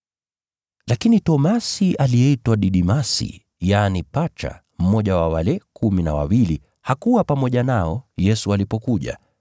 Lakini Tomaso, aliyeitwa Didimasi, yaani Pacha, mmoja wa wale kumi na wawili, hakuwa pamoja nao Yesu alipokuja.